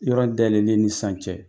Yɔrɔ dayɛlɛn ni sisan cɛ